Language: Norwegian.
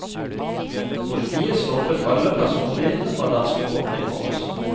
Politiet stoppet alle personbilene fra danskebåten i morges.